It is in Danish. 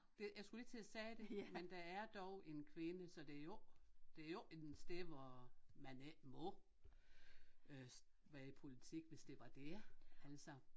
Det jeg skulle lige til at sige det men der er dog en kvinde så det er jo ikke det jo ikke en sted hvor man ikke må øh være i politik hvis det var det altså